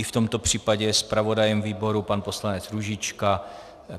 I v tomto případě je zpravodajem výboru pan poslanec Růžička.